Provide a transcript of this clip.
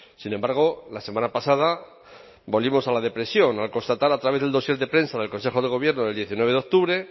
sin embargo la semana pasada volvimos a la depresión al constatar a través del dossier de prensa del consejo de gobierno del diecinueve de octubre